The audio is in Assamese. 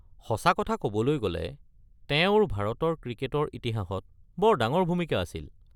সঁচা কথা ক'বলৈ গ'লে, তেওঁৰ ভাৰতৰ ক্ৰিকেটৰ ইতিহাসত বৰ ডাঙৰ ভূমিকা আছিল।